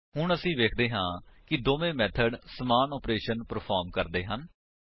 ਹੁਣ ਅਸੀ ਵੇਖਦੇ ਹਾਂ ਕਿ ਦੋਵੇ ਮੇਥਡ ਸਮਾਨ ਆਪਰੇਸ਼ਨ ਪ੍ਰਫੋਰਮ ਕਰਦੇ ਹਾਂ